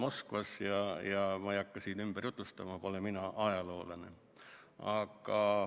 Ma ei hakka kõike siin ümber jutustama, mina pole ajaloolane.